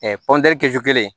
kɛsu kelen